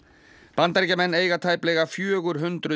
Bandaríkjamenn eiga tæplega fjögur hundruð